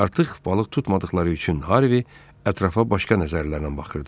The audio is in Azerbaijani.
Artıq balıq tutmadıqları üçün Harvey ətrafa başqa nəzərlərlə baxırdı.